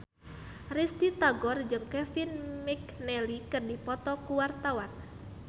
Risty Tagor jeung Kevin McNally keur dipoto ku wartawan